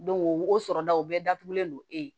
wo sɔrɔdaw bɛɛ datugulen don e ye